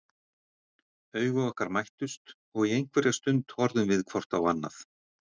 Augu okkar mættust og í einhverja stund horfðum við hvort á annað.